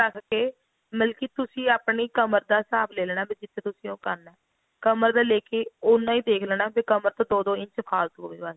ਰੱਖ ਕੇ ਮਤਲਬ ਕੀ ਤੁਸੀਂ ਆਪਣੀ ਕਮਰ ਦਾ ਹਿਸਾਬ ਲੈ ਲੇਣਾ ਵੀ ਜਿਥੇ ਤੁਸੀਂ ਉਹ ਕਰਨਾ ਕਮਰ ਦਾ ਲੈ ਕੇ ਉੰਨਾ ਹੀ ਦੇਖ ਲੇਣਾ ਵੀ ਕਮਰ ਤੋਂ ਦੋ ਦੋ ਇੰਚ ਫਾਲਤੂ ਹੋਵੇ